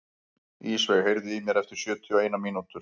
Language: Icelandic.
Ísveig, heyrðu í mér eftir sjötíu og eina mínútur.